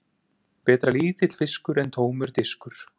Betra er lítill fiskur en tómur diskur.